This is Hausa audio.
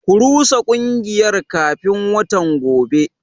Ku rusa kungiyar kafin watan gobe.